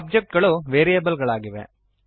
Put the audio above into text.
object ಗಳು variable ಗಳಾಗಿವೆ